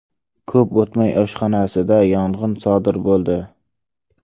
Ko‘p o‘tmay, oshxonasida yong‘in sodir bo‘ldi.